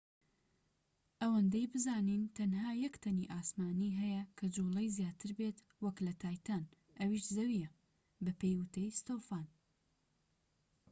ئەوەندەی بزانین تەنها یەک تەنی ئاسمانی هەیە کە جوڵەی زیاتر بێت وەك لە تایتان ئەویش زەویە بەپێی وتەی ستۆفان